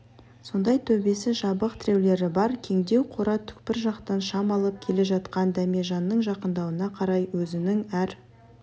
сондай төбесі жабық тіреулері бар кеңдеу қора түкпір жақтан шам алып келе жатқан дәмежанның жақындауына қарай өзінің әр